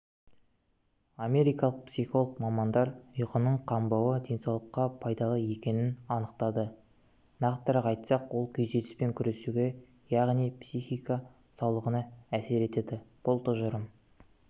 америкалық психолог мамандар ұйқының қанбауы денсаулыққа пайдалы екенін анықтады нақтырақ айтсақ ол күйзеліспен күресуге яғни психика саулығына әсер етеді бұл тұжырым